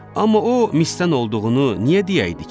Amma o misdən olduğunu niyə deyəydi ki?